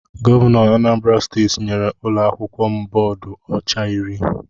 Gọvanọ Anambra steeti nyèrè ụlọakwụkwọ m bóódú ọcha iri.